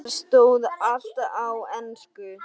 Þar stóð allt á ensku.